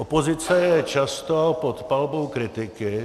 Opozice je často pod palbou kritiky.